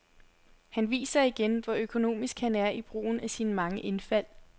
Han viser igen, hvor økonomisk han er i brugen af sine mange indfald.